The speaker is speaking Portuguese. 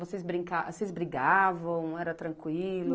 Vocês brica, vocês brigavam, era tranquilo?